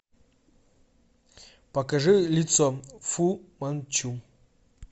покажи лицо фу манчу